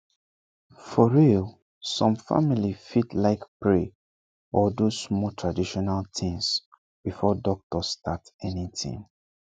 for real some family fit like pray or do small traditional things before doctor start anything